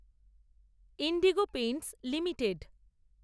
Indigo Paints limited